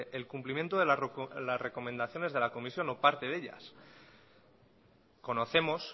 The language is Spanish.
el cumplimiento de la recomendación de la comisión o parte de ellas conocemos